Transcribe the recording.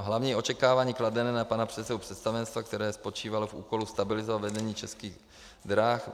Hlavní očekávání kladené na pana předsedu představenstva, které spočívalo v úkolu stabilizovat vedení Českých drah,